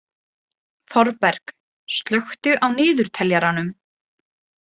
Þorberg, slökktu á niðurteljaranum.